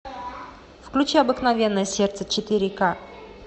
включи обыкновенное сердце четыре ка